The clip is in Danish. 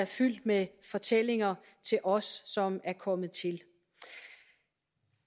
fyldt med fortællinger til os som er kommet til